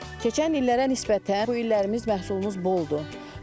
Keçən illərə nisbətən bu illərimiz məhsulumuz boldur.